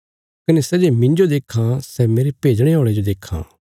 कने सै जे मिन्जो देक्खां सै मेरे भेजणे औल़े जो देक्खां